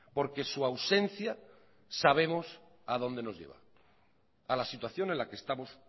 porque su ausencia sabemos a dónde nos lleva a la situación en la que estamos